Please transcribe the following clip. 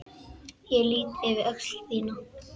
Ég lýt yfir öxl þína.